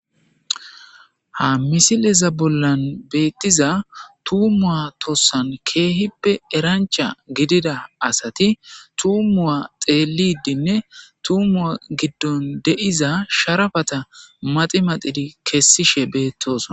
Ha misileza bolla bettiza tuma tosan kehippe erancha gidida asati tumuwa xeelidinne tumuwa gidon de'iza sharapay maxiimaxidi kesosona